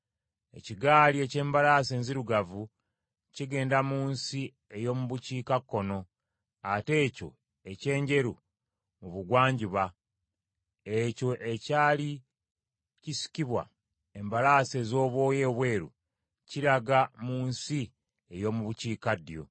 Ekigaali eky’embalaasi enzirugavu kigenda mu nsi ey’omu bukiikakkono, ate ekyo eky’enjeru mu bugwanjuba, ekyo ekyali kisikibwa embalaasi ez’obwoya obweru, kiraga mu nsi ey’omu bukiikaddyo.”